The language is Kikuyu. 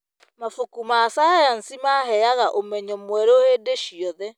Mabuku ma cayanci maheaga ũmenyo mwerũ hĩndĩ ciothe.